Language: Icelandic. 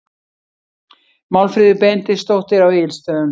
Málfríður Benediktsdóttir á Egilsstöðum